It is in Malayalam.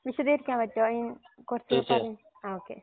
വിശദീകരിക്കാൻ പറ്റോ ഈ കൊറച്ച് പറീം ആഹ് ഒകെ